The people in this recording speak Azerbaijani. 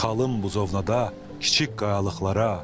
Çıxalım buzovnada kiçik qayalıqlara.